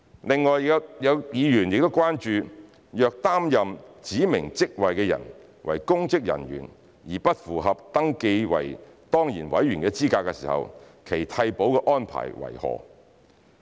另外，有議員關注若擔任指明職位的人為公職人員而不符合登記為當然委員的資格時，其替補的安排為何。